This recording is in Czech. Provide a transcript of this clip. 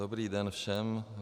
Dobrý den všem.